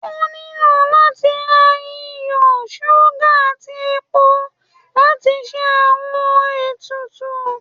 O nilo lati ra iyo, suga ati epó latí ṣe awọn etùtù